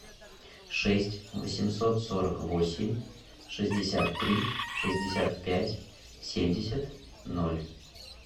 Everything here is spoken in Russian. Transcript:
шесть восемьсот сорок восемь шестьдесят три шестьдесят пять семьдесят ноль